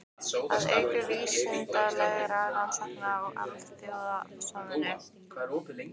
Að auka vísindalegar rannsóknir og alþjóðasamvinnu.